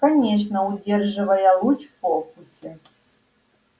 конечно удерживая луч в фокусе